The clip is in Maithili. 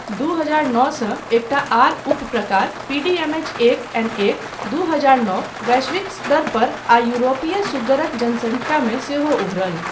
दू हजार नौसँ एकटा आर उपप्रकार, पीडीएमएच एक एन एकदू हजार नौ, वैश्विक स्तरपर आ यूरोपीय सुग्गरक जनसंख्यामे सेहो उभरल।